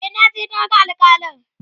e naje na ga alkalin